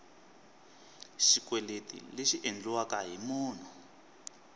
xikweleti lexi endliweke hi munhu